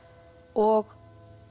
og